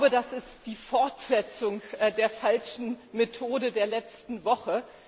Das ist die Fortsetzung der falschen Methode der letzten Woche.